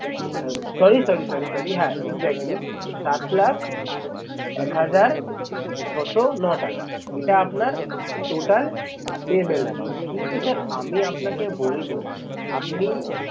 আহ sorry sorry sorry sorry হ্যাঁ exactly সাত লাখ এক হাজার ছশো নটাকা। এটা আপনার total payable amount কিন্তু sir আমি আপনাকে বলবো আপনি